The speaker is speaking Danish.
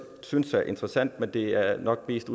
synes er interessant men det er nok mest